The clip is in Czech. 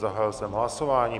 Zahájil jsem hlasování.